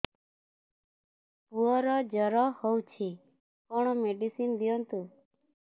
ପୁଅର ଜର ହଉଛି କଣ ମେଡିସିନ ଦିଅନ୍ତୁ